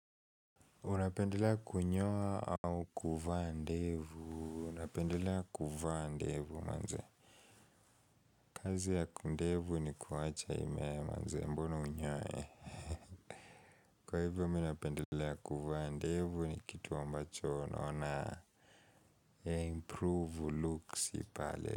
Unapendelea kunyoa au kuvaa ndevu. Unapendelea kuvaa ndevu manze. Kazi ya kundevu ni kuwacha imee manze mbona unyoe. Kwa hivyo mi napendelea kuvaa ndevu ni kitu ambacho noaona. Ya improve looks ipale.